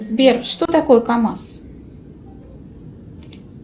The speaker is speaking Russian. сбер что такое камаз